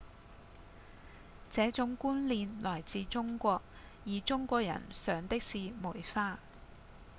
這種觀念來自中國而中國人賞的是梅花